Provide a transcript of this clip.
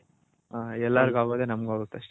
ಹ ಎಲ್ಲರ್ಗ್ ಆಗೋದೇ ನಮ್ಮ್ಗು ಆಗುತೆ